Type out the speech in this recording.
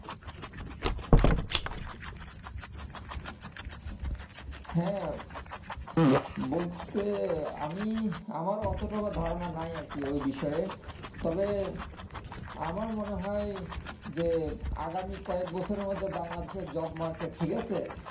হ্যাঁ বলতে আমি আমারও অত টা ধারনা নাই আর কি ওই বিষয়ে তবে আমার মনে হয় যে আগামী কয়েক বছরের মধ্যেই বাংলাদেশের jobmarket ঠিকাছে